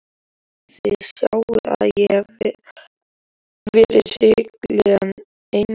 Þið sjáið að ég hef verið hrikalega einmana!